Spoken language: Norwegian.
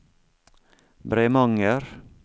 Bremanger